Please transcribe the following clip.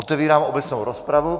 Otevírám obecnou rozpravu.